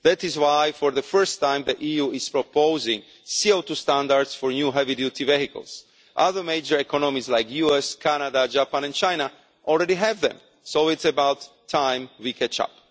That is why, for the first time, the EU is proposing CO2 standards for new heavy duty vehicles. Other major economies like the US, Canada, Japan and China already have them, so it's about time we caught up.